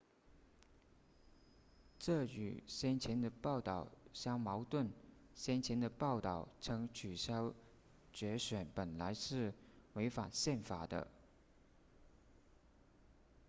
这与先前的报道相矛盾先前的报道称取消决选本来是违反宪法的